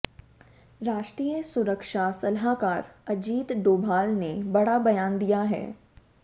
राष्ट्रीय सुरक्षा सलाहकार अजीत डोभाल ने बड़ा बयान दिया है